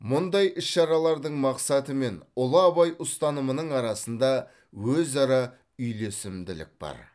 мұндай іс шаралардың мақсаты мен ұлы абай ұстанымының арасында өзара үйлесімділік бар